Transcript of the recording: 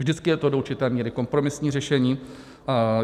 Vždycky je to do určité míry kompromisní řešení.